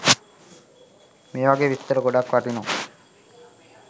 මේ වගේ විස්තර ගොඩක් වටිනවා.